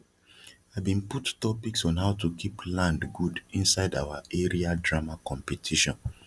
i bin put topics on how to keep land gud inside our area drama competition